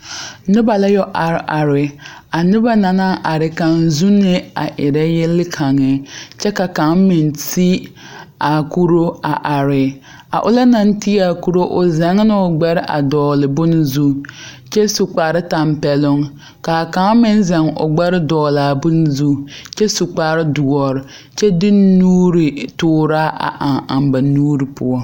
Noba la yɔ are are a noba na na are kaŋ zuunee a erɛ yel kaŋe kyɛ ka kaŋ meŋ ti a kuroo a are a ona na ti a kuroo o zɛŋ na o ɡbɛre dɔɡele bon zuŋ kyɛ su kpartɛmpɛloŋ ka kaŋ meŋ zɛŋ o ɡbɛre dɔɡele a bon zuŋ kyɛ su kpardoɔre kyɛ de nutooraa eŋ eŋ ba nuuri poɔ.